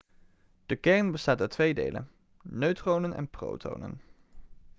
de kern bestaat uit twee delen neutronen en protonen